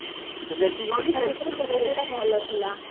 ସେଠି ଗଲୁ ସେଠି ଯୋଉ